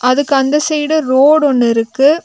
அதுக்கு அந்த side road ஒன்னு இருக்கு.